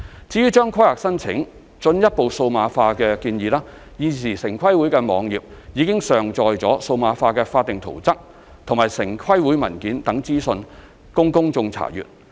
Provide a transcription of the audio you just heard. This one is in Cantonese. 至於將規劃申請進一步數碼化的建議，現時城規會網頁已上載了數碼化的法定圖則和城規會文件等資料供公眾查閱。